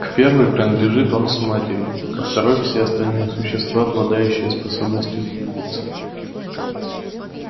к первой принадлежит он с матерью ко второй все остальные существа обладающие способностью двигаться